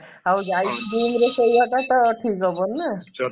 ଆଉ ଯାଇକି room ରେ ଶୋଇବାଟା ତ ଠିକ ହବନି ନା